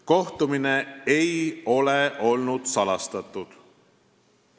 Kohtumine ei olnud salastatud.